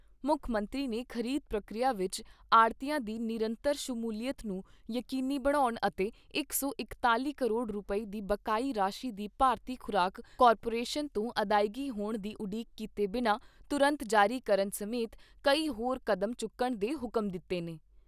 ਮੁੱਖ ਮੰਤਰੀ ਨੇ ਖ਼ਰੀਦ ਪ੍ਰਕਿਰਿਆ ਵਿਚ ਆੜ੍ਹਤੀਆਂ ਦੀ ਨਿਰੰਤਰ ਸ਼ਮੂਲੀਅਤ ਨੂੰ ਯਕੀਨੀ ਬਣਾਉਣ ਅਤੇ ਇਕ ਸੌ ਇਕੱਤੀ ਕਰੋੜ ਰੁਪਏ ਦੀ ਬਕਾਇਆ ਰਾਸ਼ੀ ਦੀ ਭਾਰਤੀ ਖ਼ੁਰਾਕ ਕਾਰਪੋਰੇਸ਼ਨ ਤੋਂ ਅਦਾਇਗੀ ਹੋਣ ਦੀ ਉਡੀਕ ਕੀਤੇ ਬਿਨ੍ਹਾਂ ਤੁਰੰਤ ਜਾਰੀ ਕਰਨ ਸਮੇਤ ਕਈ ਹੋਰ ਕਡੈਮਚੁੱਕਣ ਦੇ ਹੁਕਮ ਦਿੱਤੇ ਨੇ।